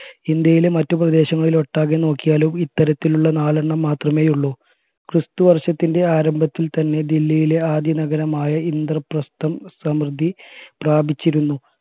ഇന്ത്യയിലെ മറ്റുപ്രദേശങ്ങളിലൊട്ടാകെ നോക്കിയാലും ഇത്തരത്തിലുള്ള നാലെണ്ണം മാത്രമേയുള്ളു ക്രിസ്തുവര്ഷത്തിൻറെ ആരംഭത്തിൽ തന്നെ ദില്ലിയിലെ ആദ്യനഗരമായ ഇന്ദ്രപ്രസ്ഥം സമൃദ്ധി പ്രാപിച്ചിരുന്നു